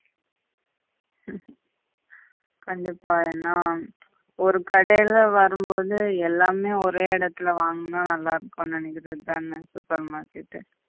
கண்டிப்பா ஏன்னா ஒரு கடேல வரும் பொது எல்லாமே ஒரே இடத்தில வாங்கினா நல்லாயிருக்கும் நினைக்கிறது தானே super market எ